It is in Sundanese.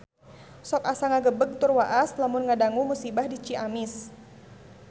Sok asa ngagebeg tur waas lamun ngadangu musibah di Ciamis